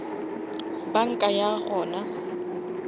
banka ya gona